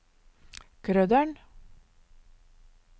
Krøderen